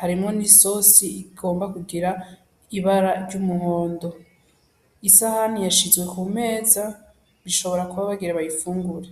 Harimwo n'isosi igomba kugira ibara ry'umuhondo. Isahani yashizwe ku meza, bashobora kuba bagira bayifungure.